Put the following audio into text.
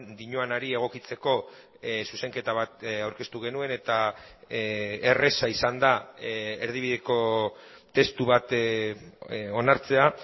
dioanari egokitzeko zuzenketa bat aurkeztu genuen eta erraza izan da erdibideko testu bat onartzea